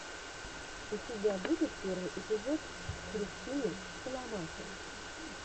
у тебя будет первый эпизод христины соломахи